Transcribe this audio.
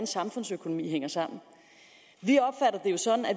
samfundsøkonomi hænger sammen